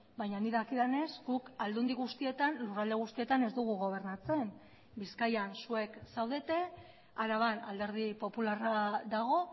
baina nik dakidanez guk aldundi guztietan lurralde guztietan ez dugu gobernatzen bizkaian zuek zaudete araban alderdi popularra dago